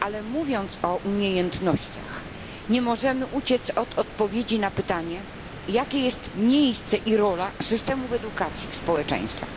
Mówiąc o umiejętnościach, nie możemy jednak uciec od odpowiedzi na pytanie, jakie jest miejsce i jaka jest rola systemu edukacji w społeczeństwach.